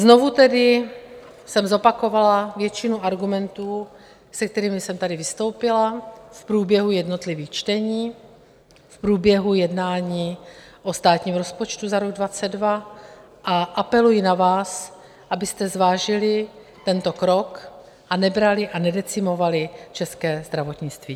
Znovu tedy jsem zopakovala většinu argumentů, s kterými jsem tady vystoupila v průběhu jednotlivých čtení, v průběhu jednání o státním rozpočtu na rok 2022, a apeluji na vás, abyste zvážili tento krok a nebrali a nedecimovali české zdravotnictví.